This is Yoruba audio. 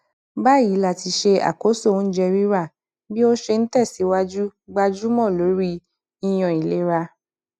báyìí láti ṣe àkóso oúnjẹ rírà bí ó ṣe n tẹsìwájú gbájúmọ lórí yíyan ìlera